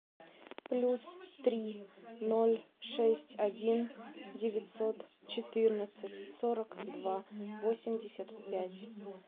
плюс три ноль шесть один девятьсот четырнадцать сорок два восемьдесят пять